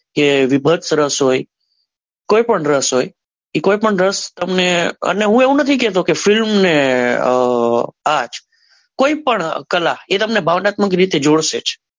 કે વિભત કોઈ પણ રસ હોય એ કોઈ પણ રસ તમને હું એવું નહિ કે તો કે film ને આ આજ કોઈ પણ કલા એ તમને ભાવન્તામ્ક જોશે જ.